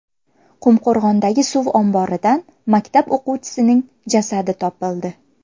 Qumqo‘rg‘ondagi suv omboridan maktab o‘quvchisining jasadi topildi.